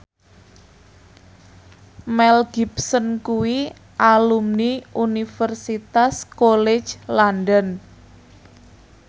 Mel Gibson kuwi alumni Universitas College London